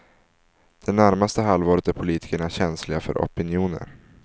Det närmaste halvåret är politikerna känsliga för opinioner.